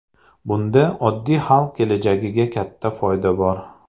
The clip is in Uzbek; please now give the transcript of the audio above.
Bunda oddiy xalq kelajagiga katta foyda bor.